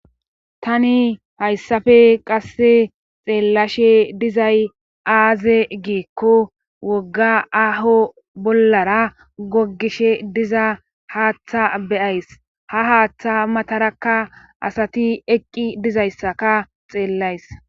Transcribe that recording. Tani hayssafe qasse xeellashe dizay aaze giikko wogga aho bollara gogishe diza haaththa beyays ha haaththa matarakka asati eqqi dizayssaka xeellays.